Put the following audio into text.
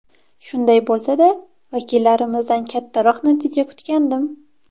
Shunday bo‘lsa-da, vakillarimizdan kattaroq natija kutgandim.